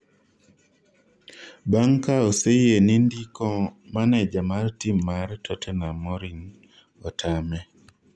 bang' ka oseyie ni ndiko maneja mar tim mar Tottenam Morin, otame